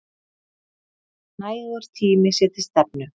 Nægur tími sé til stefnu.